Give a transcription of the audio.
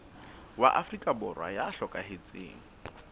wa afrika borwa ya hlokahetseng